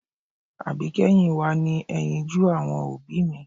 Àbíkẹ́yìn wa ni ẹyinjú àwọn òbí mi